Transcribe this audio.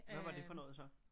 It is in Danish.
Hvad var det for noget så?